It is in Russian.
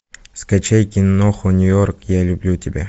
скачай киноху нью йорк я люблю тебя